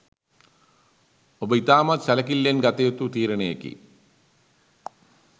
ඔබ ඉතාමත් සැලකිල්ලෙන් ගත යුතු තීරණයකි.